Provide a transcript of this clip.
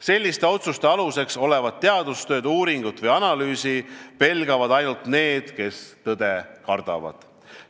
Selliste otsuste aluseks olevat teadustööd, uuringut või analüüsi pelgavad ainult need, kes tõde kardavad.